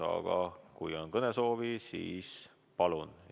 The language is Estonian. Aga kui kellegi on kõnesoovi, siis palun!